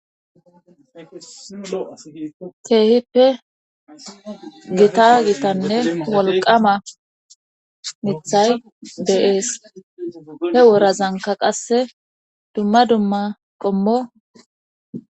keehippe gita gitanne wolqama mithay beyees he worazanka qasse dumma dumma qommo